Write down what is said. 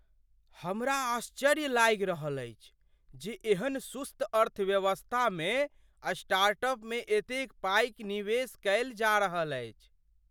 हमरा आश्चर्य लागि रहल अछि जे एहन सुस्त अर्थव्यवस्थामे स्टार्टअपमे एतेक पाइ निवेश कयल जा रहल अछि।